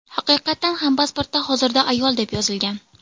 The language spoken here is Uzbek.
Haqiqatan ham pasportda hozirda ayol deb yozilgan.